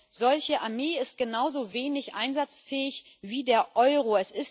Eine solche Armee ist genauso wenig einsatzfähig wie der Euro.